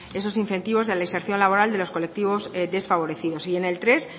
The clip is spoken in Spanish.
esos incentivos de la inserción laboral de los colectivos desfavorecidos y en el tres